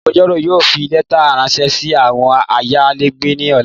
Agbẹjọ́rò yóò fi lẹ́ta ráńṣẹ́ sí àwọn ayálégbé ní ọ̀la